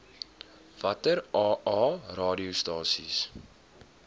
watter aa radiostasies